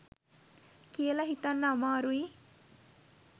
කියල හිතන්න අමාරුයි